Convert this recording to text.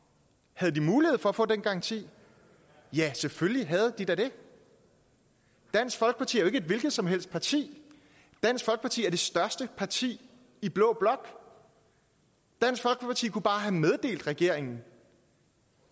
havde de mulighed for at få den garanti ja selvfølgelig havde de da det dansk folkeparti er et hvilket som helst parti dansk folkeparti er det største parti i blå blok dansk folkeparti kunne bare have meddelt regeringen